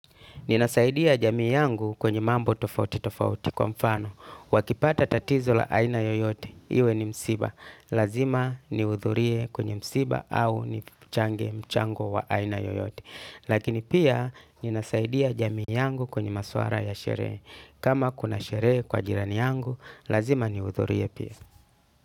Ninasaidia jamii yangu kwenye mambo tofauti tofauti kwa mfano, wakipata tatizo la aina yoyote, iwe ni msiba, lazima nihudhurie kwenye msiba au ni change mchango wa aina yoyote. Lakini pia ninasaidia jamii yangu kwenye maswala ya sherehe. Kama kuna sheree kwa jirani yangu, lazima ni udhurie pia.